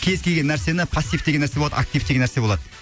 кез келген нәрсені пассив деген нәрсе болады актив деген нәрсе болады